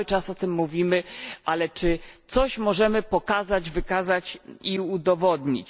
Cały czas o tym mówimy, ale czy możemy coś pokazać, wykazać i udowodnić?